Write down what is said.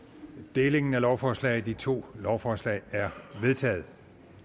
delingen af lovforslaget i to lovforslag er vedtaget